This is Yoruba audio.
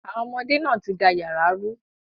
Àwọn ọmọdé náà ti da yàrá rú.